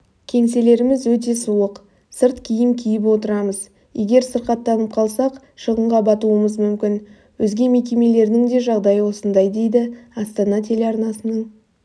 кеңселеріміз өте суық сырт киім киіп отырмыз егер сырқаттанып қалсақ шығынға батуымыз мүмкін өзге мекемелердің де жағдайы осындай дейді астана телеарнасының